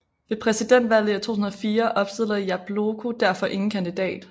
Ved presidentvalget i 2004 opstillede Jabloko derfor ingen kandidat